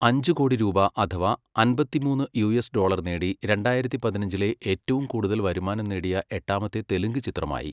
അഞ്ച് കോടി രൂപ അഥവാ അമ്പത്തിമൂന്ന് യുഎസ് ഡോളർ നേടി രണ്ടായിരത്തി പതിനഞ്ചിലെ ഏറ്റവും കൂടുതൽ വരുമാനം നേടിയ എട്ടാമത്തെ തെലുങ്ക് ചിത്രമായി.